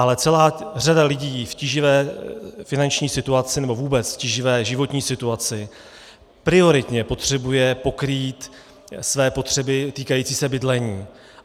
Ale celá řada lidí v tíživé finanční situaci nebo vůbec v tíživé životní situaci prioritně potřebuje pokrýt své potřeby týkající se bydlení.